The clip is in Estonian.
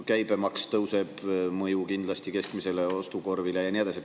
Käibemaks tõuseb, sellel on mõju kindlasti keskmisele ostukorvile, ja nii edasi.